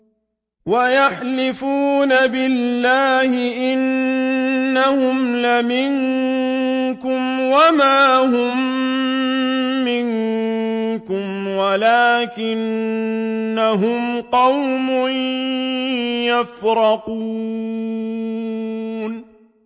وَيَحْلِفُونَ بِاللَّهِ إِنَّهُمْ لَمِنكُمْ وَمَا هُم مِّنكُمْ وَلَٰكِنَّهُمْ قَوْمٌ يَفْرَقُونَ